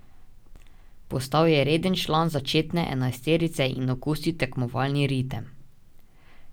Postal je reden član začetne enajsterice in okusil tekmovalni ritem.